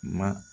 Ma